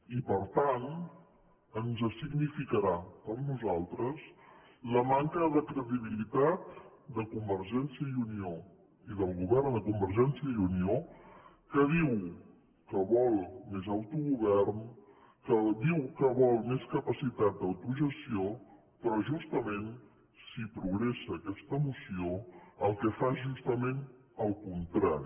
i per tant ens significarà per nosaltres la manca de credibilitat de convergència i unió i del govern de convergència i unió que diu que vol més autogovern que diu que vol més capacitat d’autogestió però justament si progressa aquesta moció el que fa és justament el contrari